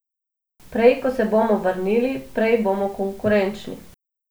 Prej, ko se bomo vrnili, prej bomo konkurenčni.